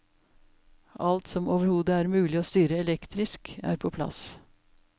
Alt som overhodet er mulig å styre elektrisk, er på plass.